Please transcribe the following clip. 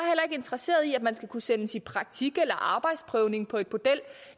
interesseret i at man skal kunne sendes i praktik eller arbejdsprøvning på